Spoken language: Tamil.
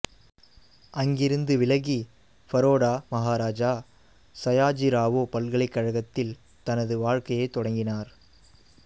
அங்கிருந்து விலகி பரோடா மஹாராஜா சயாஜிராவோ பல்கலைக் கழகத்தில் தனது வாழ்க்கையைத் தொடங்கினார்